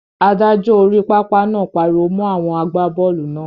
Adájọ́ orí pápá náà pariwo mọ́ àwọn àgbábọ́ọ̀lù náà.